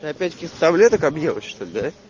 ты опять каких-то таблеток объелась что ль да